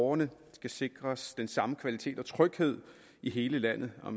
borgerne skal sikres den samme kvalitet og tryghed i hele landet og